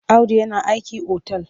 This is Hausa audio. Audu yana aiki otal.